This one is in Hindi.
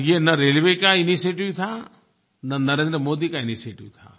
और ये न रेलवे का इनिशिएटिव था न नरेन्द्र मोदी का इनिशिएटिव था